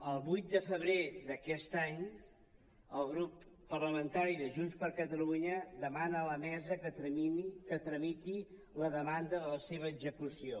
el vuit de febrer d’aquest any el grup parlamentari de junts per catalunya demana a la mesa que tramiti la demanda de la seva execució